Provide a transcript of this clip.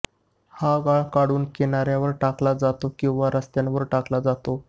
हा गाळ काढून किनाऱ्यावर टाकला जातो किंवा रस्त्यांवर टाकला जातो